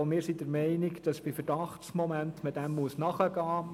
Auch wir sind der Meinung, man müsse Verdachtsmomenten nachgehen.